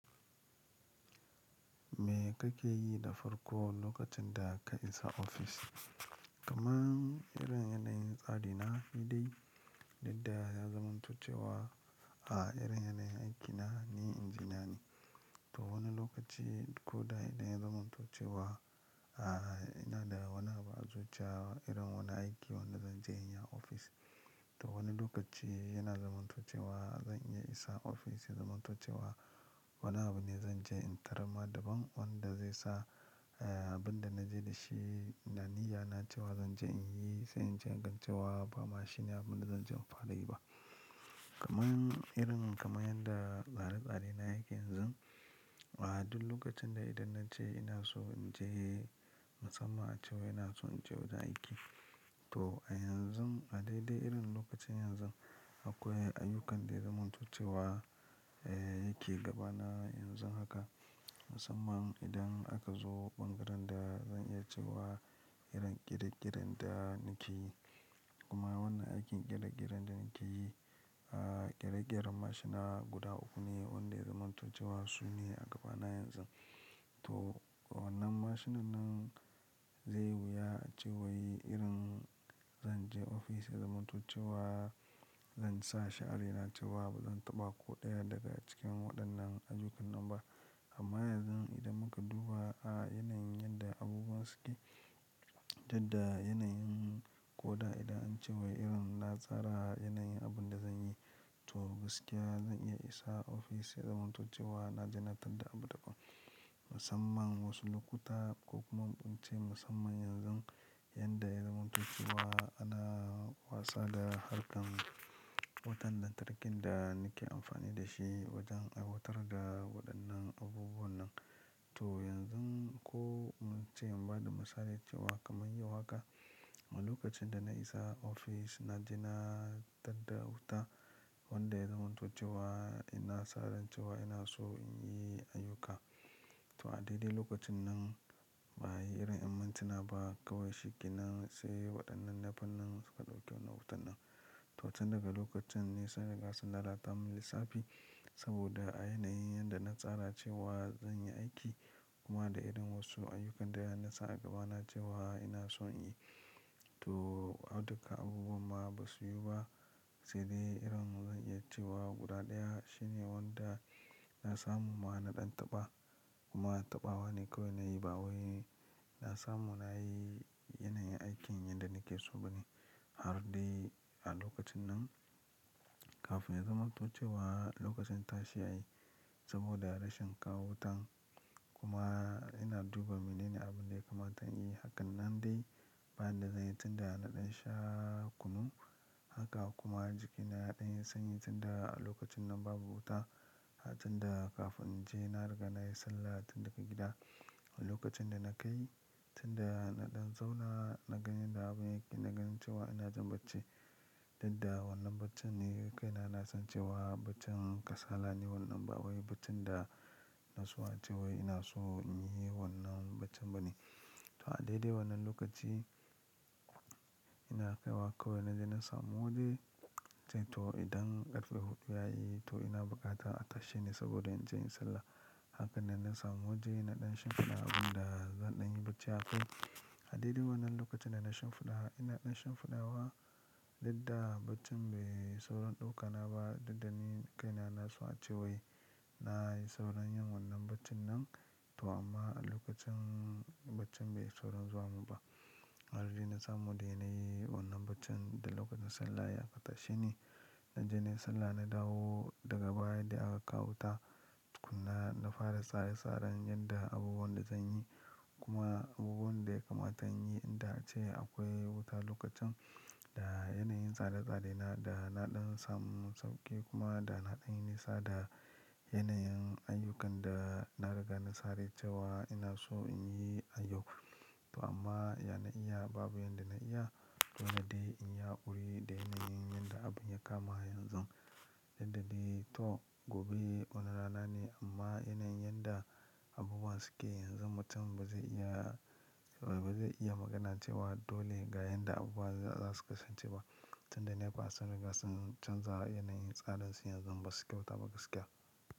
Me kake yi da farko lokacin da ka isa ofis? Kaman irin yanayin tsari na ni dai, dudda ya zamantoce wa a irin yanayin aikina, ni injiniya ne. To wani lokaci ko da idan ya zamantoce wa, a ina da wani abu a zo cewa irin wani aiki wanda zan je in yi a ofis. To wani lokaci yana zamantoce wa zan iya isa ofis ya zamantoce wa wani abu ne zan je in tarama daban wanda zai sa, eh, abin da na je da shi na niyya na cewa zan je in yi sai in je in gancewa ba mashine abin da zan je in fara yi ba. Kaman irin kamar yanda tsare-tsare na yake yanzu, a duk lokacin da idan na je ina so in je musamman cewa ina so in je wajen aiki. To a yanzu a daidai irin lokacin yanzu akwai ayyukan da ya zamantoce wa dayake gabana yanzu haka musamman idan akazo ɓangaren da zan iya cewa irin ƙere ƙeren da nakeyi kuma wannan aikin ƙere ƙeren da nakeyi ahh. Ƙere ƙeren mashina guda uku ne wanda yazamanto cewa sune a gabana yanzun. To wannan mashinan nan zai wuya a cewa yi irin zan je ofis ya zamantoce wa zan sa shi'ara ina cewa ba zan taɓa ko ɗaya daga cikin waɗannan ayukan nan ba. Amma yanzu idan muka duba a yanayin yadda abubuwa suke, dudda yanayin ko da idan an ce wai irin na tsara yanayin abin da zan yi, to gaskiya zan iya isa ofis ya zamantoce wa na jena tar da abu daɓan. Musamman wasu lokuta ko kuma mun ce musamman yanzu, yanda ya zamantoce wa ana wasa da harkar wutan lan tarkin da nake amfani da shi wajen ai watar da waɗannan abubuwan nan. To yanzu ko mun ce mun ba da misali cewa kamar yau haka, a lokacin da na isa ofis na jena tar da wuta wanda ya zamantoce wa na saran cewa ina so in yi ayyuka. To a daidai lokacin nan ba yi irin imantuna ba kawai shikenan sai waɗannan nafan nan suka ɗauke mun wutan nan. To tun daga lokacin ne sunriga sun lala ta mun lissafi saboda a yanayin yanda na tsara cewa zan yi aiki kuma da irin wasu ayyukan da na sa a gabana cewa ina son in yi. To, a duka abubuwan ma ba su yi ba sai dai irin zan iya cewa guda ɗaya shine wanda na samu ma naɗan taɓa kuma taɓawa ne kawai na yi ba wai na samu na yi yanayin aikin yanda nake so ba ne. Har dai a lokacin nan kafin ya zamantoce wa lokacin tashi yayi saboda rashin kawo wutan kuma ina duba mene ne abin da ya kamata in yi. Hakan nan dai bayan da zai yi tun da naɗan sha kunu haka kuma jikina yaɗanyi sanyi tun da a lokacin nan babu wuta har tun da kafin in je na riga na yi sallah tun daga gida. A lokacin da na kai tun da naɗan zauna na ganyan da abin yake, na ganin cewa ina jin bacci. Dudda wannan baccin ni kai na na san cewa baccin kasala ne wannan ba wai baccin da na so a cewa ina so in yi wannan baccin ba ne. To a daidai wannan lokaci ina kai wa kawai na jena samu waje sai to idan ƙarfe huɗu ya yi to ina bukatan a tashe ni saboda in je in sallah. Kafin dan nasamu waje naɗan shimfiɗa abinda zanyi bacci akai. A daidai wannan lokacin na ɗan shimfiɗa, ina ɗan shimfiɗawa dudda baccin bai saurin ɗauka na ba dudda ni kai na na so a cewa yi na yi sauran yin wannan baccin nan. To amma a lokacin baccin bai saurin zuwa mun ba. Har dai na samu dai na yi wannan baccin da lokacin sallah ya ka tashe ni. Na je na yi sallah, na dawo daga baya dai aka kawo wuta. Tukunna na fara tsare-tsaren yanda abubuwan da zan yi kuma abubuwan da ya kamata in yi in da ace akwai wuta lokacin da yanayin tsare-tsare na da naɗan samun sauƙi kuma da naɗanyi nisa da yanayin ayyukan da na riga na sarai cewa ina so in yi a yau. To amma yana iya babu yanda na iya dole dai in yi haƙuri da yanayin yanda abun ya kama yanzu. Duddadai to gobe wani rana ne amma yanayin yanda abubuwan suke yanzu mutum ba zai iya, ba zai iya magana cewa dole ga yanda abubuwa za su kasance ba tun da ne pa sun riga sun canza yanayin tsarin su yanzu ba su kyauta ba gaskiya.